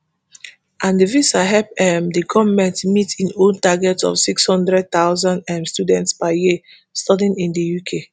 and di visa help um di goment meet e own target of six hundred thousand um students per year studying in di uk